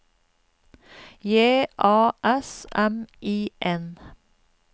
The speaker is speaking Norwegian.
J A S M I N